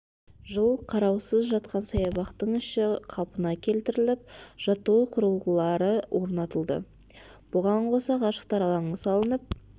жыл қараусыз жатқан саябақтың іші қалпына келтіріліп жаттығу құрылғылары орнатылды бұған қоса ғашықтар алаңы салынып